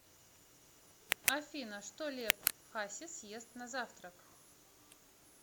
афина что лев хасис ест на завтрак